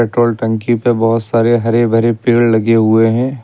Petrol टंकी पे बहोत सारे हरे भरे पेड़ लगे हुए हैं।